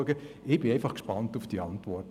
Ich bin einfach gespannt auf die Antwort.